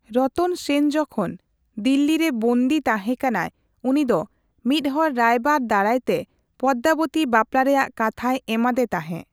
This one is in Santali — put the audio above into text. ᱨᱚᱛᱚᱱ ᱥᱮᱱ ᱡᱚᱠᱷᱚᱱ ᱫᱤᱞᱞᱤᱨᱮ ᱵᱚᱱᱫᱤ ᱛᱟᱸᱦᱮ ᱠᱟᱱᱟᱭ, ᱩᱱᱤ ᱫᱚ ᱢᱤᱫᱦᱚᱲ ᱨᱟᱭᱵᱟᱨ ᱫᱟᱨᱟᱭᱛᱮ ᱯᱚᱫᱢᱟᱵᱚᱛᱤ ᱵᱟᱯᱞᱟ ᱨᱮᱭᱟᱜ ᱠᱟᱛᱷᱟᱭ ᱮᱢᱟ ᱫᱮ ᱛᱟᱸᱦᱮ ᱾